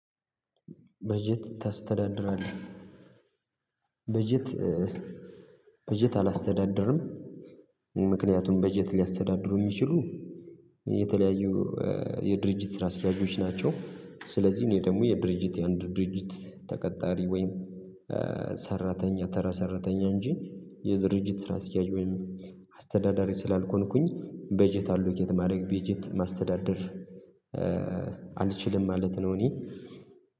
በጀት ታስተዳድራለህ? በጀት በጀት አላስተዳድርም ምክንያቱም በጀት ሊያስተዳድሩ የሚችሉ የተለያዩ የድርጅት ስራ አስኪያጆች ናቸው ስለዚህ እኔ ደግሞ የድርጅት የአንድ ድርጅት ተቀጣሪ ወይም ሰራተኛ ተራ ሰራተኛ እንጂ የድርጅት ስራ አስኪያጅ ወይም አስተዳዳሪ ስላልሆኩኝ በጀት አሎኬት ማድረግ በጀት ማስተዳደር አልችልም ማለት ነው እኔ